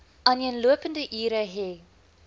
aaneenlopende ure hê